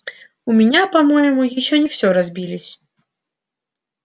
у меня по-моему ещё не всё разбились